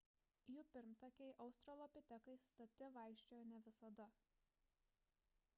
jų pirmtakai australopitekai stati vaikščiojo ne visada